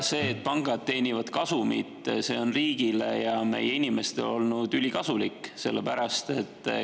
See, et pangad teenivad kasumit, on riigile ja meie inimestele olnud ülikasulik.